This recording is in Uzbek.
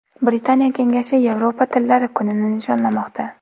Britaniya kengashi Yevropa tillari kunini nishonlamoqda.